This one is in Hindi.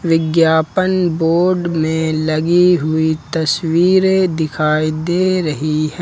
विज्ञापन बोर्ड में लगी हुई तस्वीरें दिखाई दे रही है।